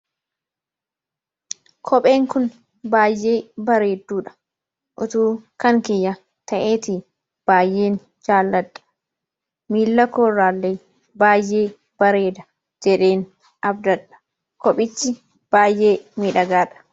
Kopheen kun baayyee bareedduudha. Utuu kan kiyya ta'eeti baayyeen jaaladha miila kooraalee baay'ee bareeda jedheen abdadha kophichi baay'ee midhagaadha.